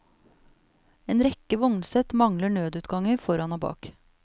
En rekke vognsett mangler nødutganger foran og bak.